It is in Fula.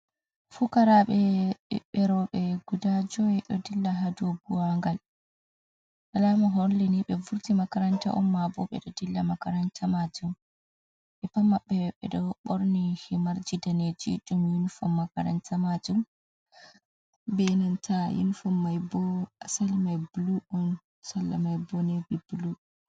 Fukaraaɓe rooɓe, guda joyi ɗo dilla haa doo buwangal, alama holli ni, ɓe vurti makaranta on, maa ɓo ɓe ɗo dilla makaranta maajum, ɓe pat maɓɓe ɓe ɗo ɓorni himarji daneeji, ɗum yunifom makaranta maajum, bee nanta yinifom mai ɓo asal mai bulu on, salla mai boo neevii bulu.